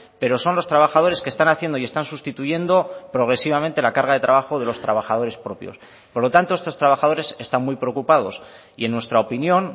pero son los trabajadores que están haciendo y están sustituyendo progresivamente la carga de trabajo de los trabajadores propios por lo tanto estos trabajadores están muy preocupados y en nuestra opinión